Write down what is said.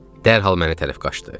Dərhal mənə tərəf qaçdı.